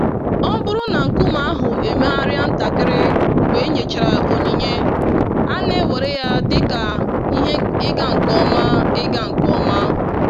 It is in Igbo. Ọ bụrụ na nkume ahụ emegharịa ntakịrị mgbe enyechara onyinye, a na-ewere ya dị ka ihe ịga nke ọma. ịga nke ọma.